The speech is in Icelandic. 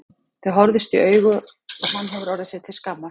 Þau horfðust í augu og hann hefur orðið sér til skammar.